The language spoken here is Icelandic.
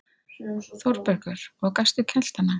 ÞÓRBERGUR: Og gastu kælt hana?